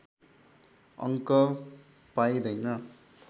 अङ्क पाइँदैन